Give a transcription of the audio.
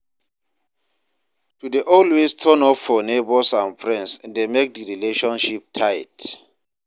To de always turn up for neighbors and friends de make di relationship tight